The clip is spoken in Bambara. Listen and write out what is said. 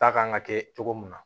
Ta kan ka kɛ cogo min na